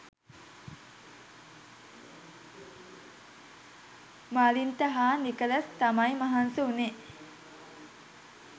මලින්ත හා නිකලස් තමයි මහන්සි උනේ.